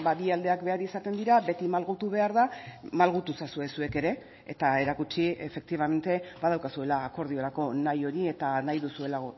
bi aldeak behar izaten dira beti malgutu behar da malgutu ezazue zuek ere eta erakutsi efektibamente badaukazuela akordiorako nahi hori eta nahi duzuela